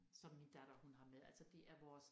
Som min datter hun har med altså det er vores